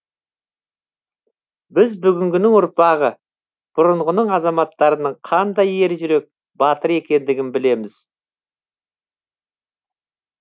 біз бүгінгінің ұрпағы бұрынғының азаматтарының қандай ер жүрек батыр екендігін білеміз